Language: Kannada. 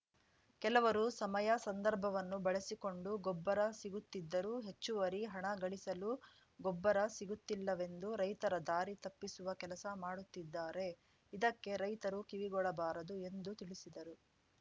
ಕೆಲವರು ಸಮಯ ಸಂದರ್ಭವನ್ನು ಬಳಸಿಕೊಂಡು ಗೊಬ್ಬರ ಸಿಗುತ್ತಿದ್ದರೂ ಹೆಚ್ಚುವರಿ ಹಣ ಗಳಿಸಲು ಗೊಬ್ಬರ ಸಿಗುತ್ತಿಲ್ಲವೆಂದು ರೈತರ ದಾರಿ ತಪ್ಪಿಸುವ ಕೆಲಸ ಮಾಡುತ್ತಿದ್ದಾರೆ ಇದಕ್ಕೆ ರೈತರು ಕಿವಿಗೊಡಬಾರದು ಎಂದು ತಿಳಿಸಿದರು